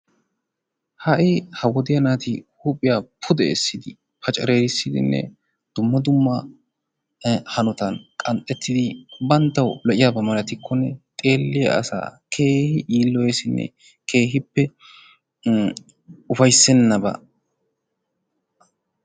Ha'i ha wodiya naati huuphiyaa pude essidi paccarissidinne dumma dumma banttaw lo''iyaaba malatikkonne xeeliyaa asaa keehi yiiloyessinne ufayssenaba.